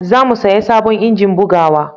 zamu saya sabon injin bugawa